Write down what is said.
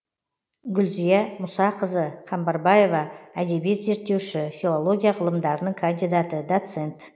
гүлзия мұсақызы қамбарбаева әдебиет зерттеуші филология ғылымдарының кандидаты доцент